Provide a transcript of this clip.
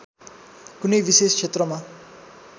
कुनै विशेष क्षेत्रमा